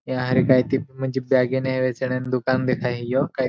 या रई कई ते म्हणजे बॅगे नेहवायचे दुकान दिखाईयो.